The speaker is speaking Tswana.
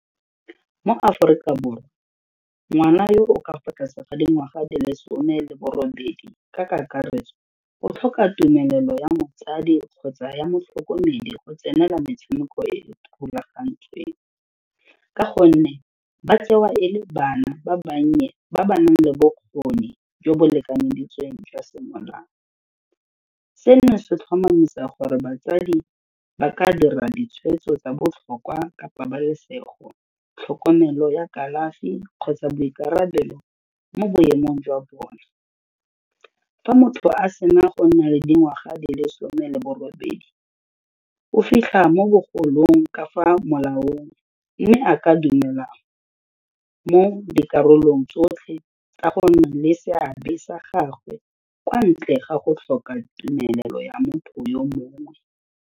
Mo Aforika borwa ngwana yo o ka fa tlase ga dingwaga di le some le bo robedi ka kakaretso o tlhoka tumelelo ya motsadi kgotsa ya motlhokomedi go tsenela metshameko e rulagantsweng, ka gonne ba tsewa e le bana ba bannye ba ba nang le bokgoni jo bo lekanyeditsweng jwa semolao. Seno se tlhomamisa gore batsadi ba ka dira ditshwetso tsa botlhokwa ka pabalesego, tlhokomelo ya kalafi kgotsa boikarabelo mo boemong jwa bone. Fa motho a sena go nna le dingwaga di le some le bo robedi o fitlha mo bogolong ka fa molaong mme a ka dumela mo dikarolong tsotlhe ka gonne le seabe sa gagwe kwa ntle ga go tlhoka tumelo ya motho yo mongwe